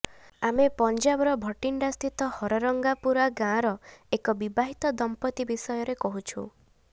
ଆମେ ପଞ୍ଜାବର ଭଟିଣ୍ଡାସ୍ଥିତ ହରରଙ୍ଗପୁରା ଗାଁର ଏକ ବିବାହିତ ଦମ୍ପତି ବିଷୟରେ କହୁଛୁ